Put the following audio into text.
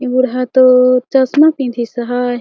ए बूढ़ा तो चश्मा पेनधिस अहाय।